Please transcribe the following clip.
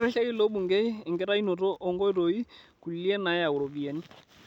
Ketirrishaki ilo bungei enkitainoto oo nkoitoi kulie nayaau ropiyiani